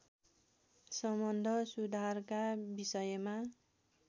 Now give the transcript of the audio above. सम्बन्ध सुधारका विषयमा